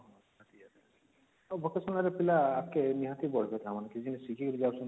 vocational ରେ ପିଲା ଆଗକେ ନିହାତି ବଢିବେ ତା ମାନେ ଶିଖିକିନା ଯାଉଛନ୍ତି